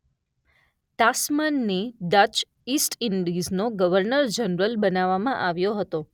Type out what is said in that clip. તાસ્માનને Dutch East ઇન્ડિઝનો governor general બનાવવામાં આવ્યો હતો.